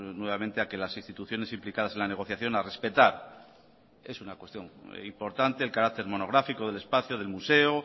nuevamente a que las instituciones implicadas en la negociación a respetar es una cuestión importante el carácter monográfico del espacio del museo